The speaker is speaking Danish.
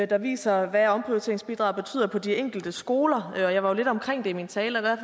der viser hvad omprioriteringsbidraget betyder på de enkelte skoler jeg var lidt omkring det i min tale og der